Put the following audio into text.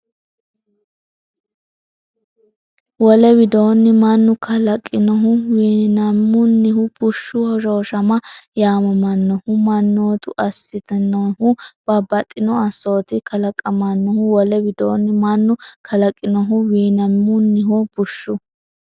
Wole widoonni, mannu kalaqinohu( wiinamunnihu) bushshu hoshooshama yaamamannohu mannotu assitan- nohu babbaxxino assotinni kalaqamannoho Wole widoonni, mannu kalaqinohu( wiinamunnihu) bushshu.